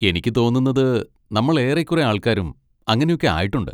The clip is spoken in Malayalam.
എനിക്ക് തോന്നുന്നത് നമ്മൾ ഏറെക്കുറെ ആൾക്കാരും അങ്ങനൊക്കെ ആയിട്ടുണ്ട്.